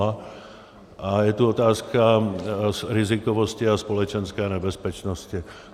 A je tu otázka rizikovosti a společenské nebezpečnosti.